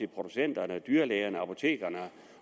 producenternes dyrlægernes apotekernes